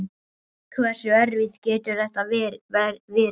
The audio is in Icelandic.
Hversu erfitt getur þetta verið?